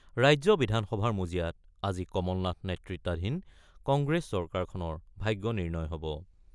ৰাজ্য বিধানসভাৰ মজিয়াত আজি কমল নাথ নেতৃত্বাধীন কংগ্ৰেছ চৰকাৰখনৰ ভাগ্য নিৰ্ণয় হ'ব।